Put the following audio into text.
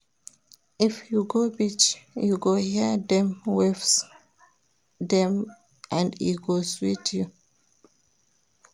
If you go beach, you go hear dem waves dem and e go sweet you.